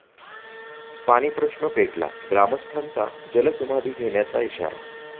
पाणीप्रश्न पेटला, ग्रामस्थांचा जलसमाधी घेण्याचा इशारा